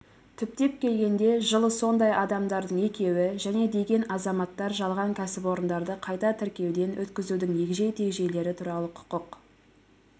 түптеп келгенде жылысондай адамдардың екеуі және деген азаматтар жалған кәсіпорындарды қайта тіркеуден өткізудің егжей-тегжейлері туралы құқық